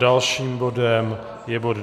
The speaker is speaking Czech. Dalším bodem je bod